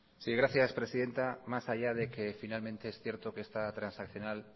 sí gracias presidenta más allá de que finalmente es cierto que esta transaccional